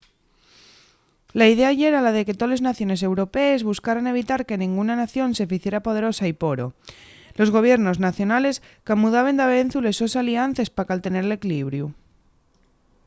la idea yera la de que toles naciones europees buscaran evitar que nenguna nación se ficiera poderosa y poro los gobiernos nacionales camudaben davezu les sos aliances pa caltener l’equilibriu